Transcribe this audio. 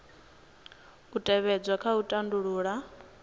u tevhedzwa kha u tandulula